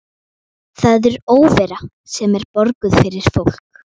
Það er óvera sem er borguð fyrir fólk.